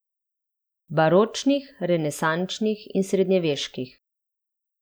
Baročnih, renesančnih in srednjeveških.